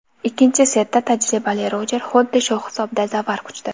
Ikkinchi setda tajribali Rojer xuddi shu hisobda zafar quchdi.